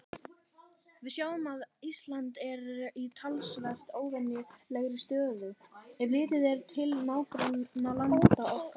Við sjáum að Ísland er í talsvert óvenjulegri stöðu, ef litið er til nágrannalanda okkar.